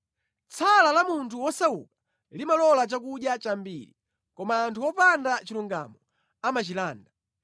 Tsala la munthu wosauka limalola chakudya chambiri, koma anthu opanda chilungamo amachilanda.